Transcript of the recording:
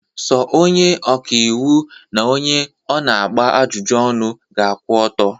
Sọ onye ọka iwu n'onye ọ na-agba ajụjụ ọnụ ga-akwụ ọtọ.